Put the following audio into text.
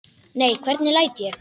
Nei, hvernig læt ég?